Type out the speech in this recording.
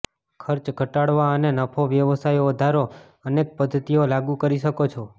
ખર્ચ ઘટાડવા અને નફો વ્યવસાયો વધારો અનેક પદ્ધતિઓ લાગુ કરી શકો છો